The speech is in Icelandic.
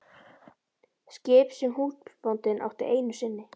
Skip sem húsbóndinn átti einu sinni.